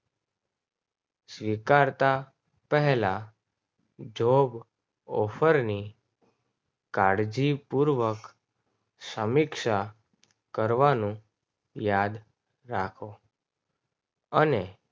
સ્વીકારતા પહેલા job offer ને કાઢી પૂર્વક સમીક્ષા કરવાનું યાદ રાખો અને